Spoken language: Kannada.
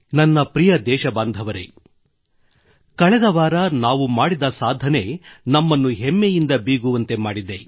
ನನ್ನ ಪ್ರಿಯ ದೇಶಬಾಂಧವರೆ ಕಳೆದ ವಾರ ನಾವು ಮಾಡಿದ ಸಾಧನೆ ನಮ್ಮನ್ನು ಹೆಮ್ಮೆಯಿಂದ ಬೀಗುವಂತೆ ಮಾಡಿದೆ